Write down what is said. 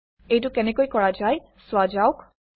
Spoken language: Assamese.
এইটো কেনেকৈ কৰা যায় চোৱা যাওক